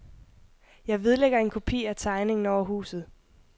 Jeg vedlægger en kopi af tegningen over huset.